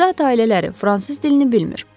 Zat ailələri fransız dilini bilmir.